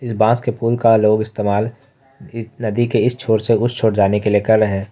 इस बास के पुल का लोग इस्तेमाल नदी के इस छोर से उस छोर जाने के लिए की रहे --